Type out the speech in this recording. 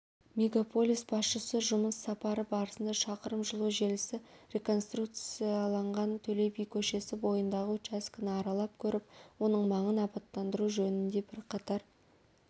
мегаполис басшысы жұмыс сапары барысында шақырым жылу желісі реконструкцияланған төле би көшесі бойындағы учаскені аралап көріп оның маңын абаттандыру жөнінде бірқатар